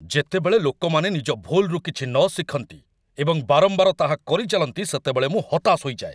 ଯେତେବେଳେ ଲୋକମାନେ ନିଜ ଭୁଲ୍‌ରୁ କିଛି ନ ଶିଖନ୍ତି ଏବଂ ବାରମ୍ବାର ତାହା କରିଚାଲନ୍ତି, ସେତେବେଳେ ମୁଁ ହତାଶ ହୋଇଯାଏ।